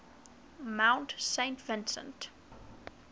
mount saint vincent